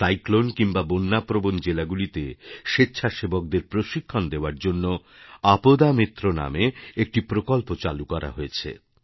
cyclone কিংবা বণ্যা প্রবণ জেলাগুলিতে স্বেচ্ছাসেবকদের প্রশিক্ষণ দেওয়ার জন্য আপদা মিত্র নামক একটি প্রকল্প চালু করা হয়েছে